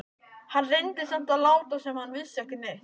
Hann reyndi samt að láta sem hann vissi ekki neitt.